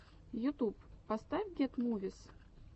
ютуб поставь гет мувис